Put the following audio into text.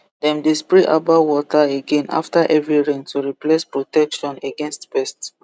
dem dey spray herbal water again after heavy rain to replace the protection against pest